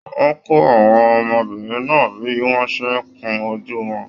Wọn kọ àwọn ọmọbìnrin náà bí wọn ṣe n kún ojú wọn.